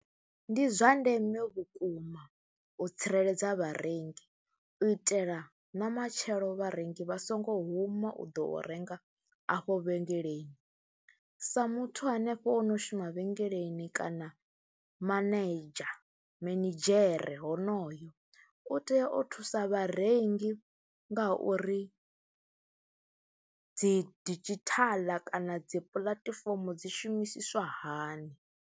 Ndi zwa ndeme vhukuma u tsireledza vharengi u itela na matshelo vharengi vha songo huma u ḓo renga afho vhengeleni, sa muthu hanefho o no shuma vhengeleni kana manedzha, minidzhere honoyo u tea o thusa vharengi ngauri dzi didzhithala kana dzi puḽatifomo dzi shumisiswa hani.